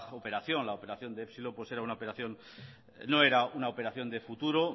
operación la operación de epsilon no era una operación de futuro